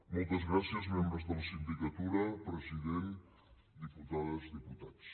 moltes gràcies membres de la sindicatura president diputades diputats